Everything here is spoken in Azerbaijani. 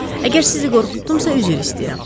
Əgər sizi qorxutdumsa, üzr istəyirəm.